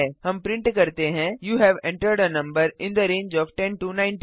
हम प्रिंट करते हैं you have entered a number in the range of 10 19